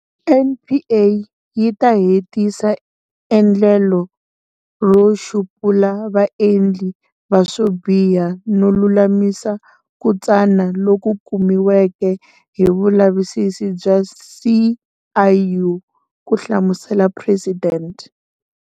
NPA yi ta hetisa endlelo ro xupula vaendli va swobiha no lulamisa ku tsana loku kumiweke hi vulavisisi bya CIU, ku hlamusela Presidente.